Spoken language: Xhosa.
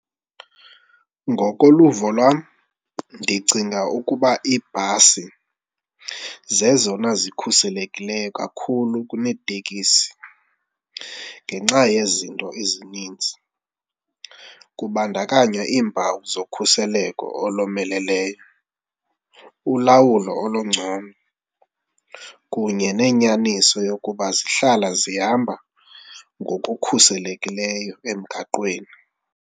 Ngokoluvo lwam ndicinga ukuba iibhasi zezona zikhuselekileyo kakhulu kunetekisi ngenxa yezinto ezininzi. Kubandakanywa iimpawu zokhuseleko olomeleleyo, ulawulo olungcono kunye nenyaniso yokuba zihlala zihamba ngokukhuselekileyo emgaqweni.